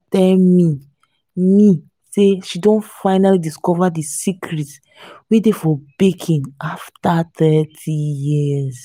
tell me me say she don finally discover the secret wey dey for baking after thirty years